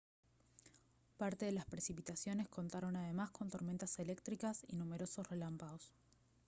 parte de las precipitaciones contaron además con tormentas eléctricas y numerosos relámpagos